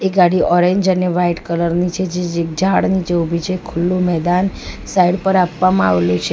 ગાડી ઓરેન્જ અને white colour ની છે જે જે ઝાડ નીચે ઉભી છે ખુલ્લું મેદાન સાઇડ પર આપવામાં આવેલું છે.